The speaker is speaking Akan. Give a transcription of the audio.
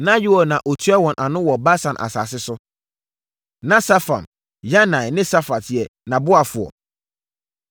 Na Yoɛl na ɔtua wɔn ano wɔ Basan asase so. Na Safam, Yanai ne Safat yɛ nʼaboafoɔ.